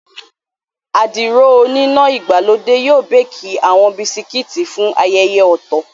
Àdìrò oníná ìgbàlódé yóò béékì àwọn Bisikíìtì fún ayẹyẹ ọ̀tọ̀